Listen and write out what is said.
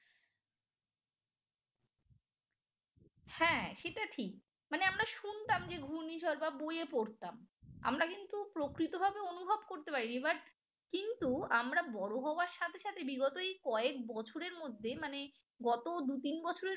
হ্যাঁ সেটা ঠিক মানে আমরা শুনতাম যে ঘূর্ণিঝড় বা বইয়ে পড়তাম আমরা কিন্তু প্রকৃতভাবে অনুভব করতে পারিনি but কিন্তু আমরা বড় হওয়ার সাথে সাথে বিগত এই কয়েক বছরের মধ্যে মানে গত দু-তিন বছরের মধ্যে